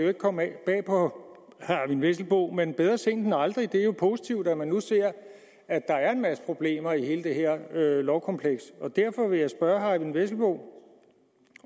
ikke komme bag på herre eyvind vesselbo men bedre sent end aldrig det er jo positivt at man nu ser at der er en masse problemer i hele det her lovkompleks derfor vil jeg spørge herre eyvind vesselbo